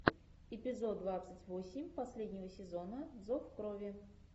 эпизод двадцать восемь последнего сезона зов крови